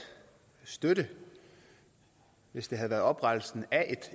støtte hvis det havde været oprettelsen af